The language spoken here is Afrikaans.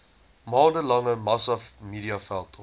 maande lange massamediaveldtog